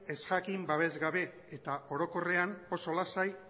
ezjakin babesgabe eta orokorrean oso lasai